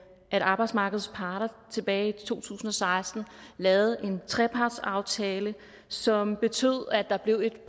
at arbejdsmarkedets parter tilbage i to tusind og seksten lavede en trepartsaftale som betød at der blev et